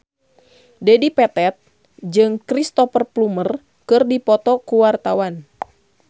Dedi Petet jeung Cristhoper Plumer keur dipoto ku wartawan